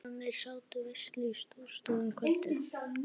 Þjóðverjarnir sátu veislu í Stórustofu um kvöldið.